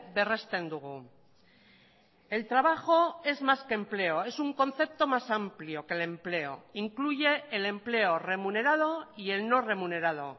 berresten dugu el trabajo es más que empleo es un concepto más amplio que el empleo incluye el empleo remunerado y el no remunerado